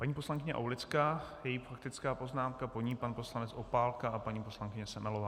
Paní poslankyně Aulická, její faktická poznámka, po ní pan poslanec Opálka a paní poslankyně Semelová.